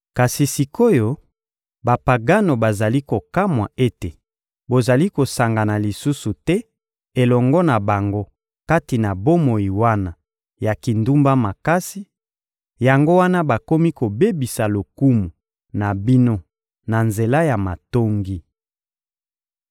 Kasi sik’oyo, Bapagano bazali kokamwa ete bozali kosangana lisusu te elongo na bango kati na bomoi wana ya kindumba makasi; yango wana bakomi kobebisa lokumu na bino na nzela ya matongi.